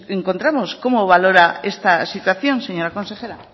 encontramos cómo valora esta situación señora consejera